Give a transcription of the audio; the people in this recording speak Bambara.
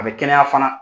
A bɛ kɛnɛya fana